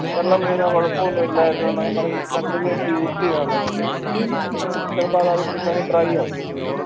വെള്ളം വീണാൽ കൊഴപ്പൊന്നുല്ലായിരുന്നു എന്നൊക്കെ പറഞ്ഞ് continues use എയ്യുവാണെങ്കിൽ ഏർ ചെലപ്പോ അതവിടിരുന്നങ്ങ് dry ആവും